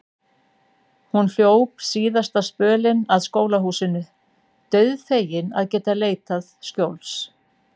Hún hljóp síðasta spölinn að skólahúsinu, dauðfegin að geta leitað skjóls.